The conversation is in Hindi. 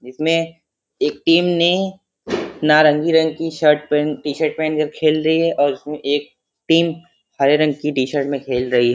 इसमें एक टीम ने नारंगी रंग की शर्ट पहन टी-शर्ट पहनकर खेल रही है और एक टीम हरे रंग के टी-शर्ट पहन कर खेल रही है|